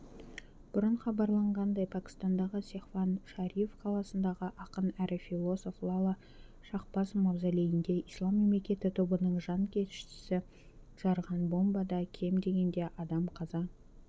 бұрын хабарланғандай пәкістандағы сехван-шариф қаласындағы ақын әрі филосов лала шахбаз мавзолейінде ислам мемлекеті тобының жанкештісі жарған бомбадан кем дегенде адам қаза